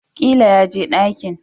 Ƙila yaje dakin